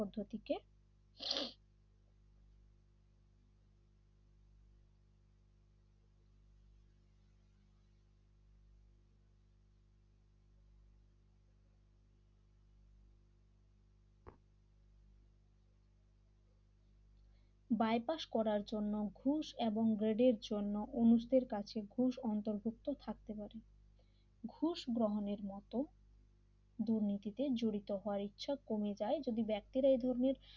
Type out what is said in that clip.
bypass করার জন্য ঘুষ এবং গ্রেডের জন্য অনুজদের কাছে ঘুষ অন্তর্ভুক্ত থাকতে পারে ঘুষ গ্রহণের মত দুর্নীতিতে জড়িত হওয়ার ইচ্ছা কমে যায় যদি ব্যক্তিরা এই ধরনের